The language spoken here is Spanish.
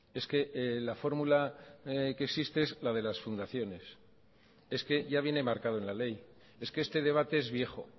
es que la fórmula que existe es la de las fundaciones es que ya viene marcado en la ley es que este debate es viejo